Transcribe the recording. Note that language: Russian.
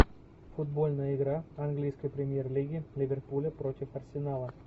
футбольная игра английской премьер лиги ливерпуля против арсенала